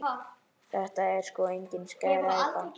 Þetta er sko engin skræpa.